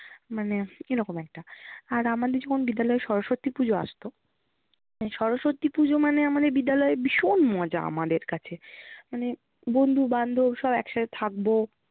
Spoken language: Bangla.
মানে এরকম একটা। আর আমাদের যখন বিদ্যালয়ে সরস্বতী পুজো আসতো, সরস্বতী পুজো মানে আমাদের বিদ্যালয়ে ভীষণ মজা আমাদের কাছে মানে বন্ধু বান্ধব সব একসাথে থাকবো।